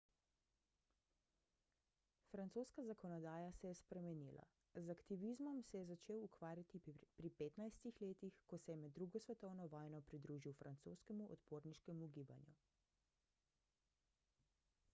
francoska zakonodaja se je spremenila z aktivizmom se je začel ukvarjati pri 15 letih ko se je med ii svetovno vojno pridružil francoskemu odporniškemu gibanju